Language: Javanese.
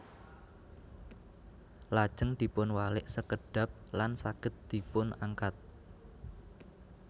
Lajeng dipun walik sekedhap lan saged dipun angkat